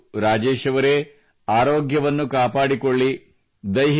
ಒಳ್ಳೆಯದು ರಾಜೇಶ್ ಅವರೇ ಆರೋಗ್ಯವನ್ನು ಕಾಪಾಡಿಕೊಳ್ಳಿ